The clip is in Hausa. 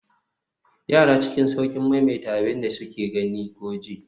yara cikin sauƙin maimaita abin da suka gani ko ji